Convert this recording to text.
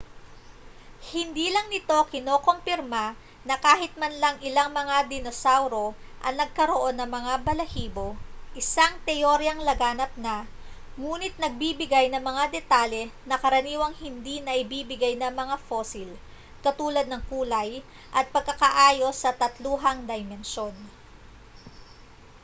hindi lang nito kinokompirma na kahit man lang ilang mga dinosauro ang nagkaroon ng mga balahibo isang teoryang laganap na nguni't nagbibigay ng mga detalye na karaniwang hindi naibibigay ng mga fosil katulad ng kulay at pagkakaayos sa tatluhang dimensyon